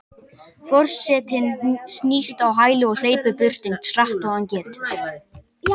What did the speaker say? Forsetinn snýst á hæli og hleypur burt eins hratt og hann getur.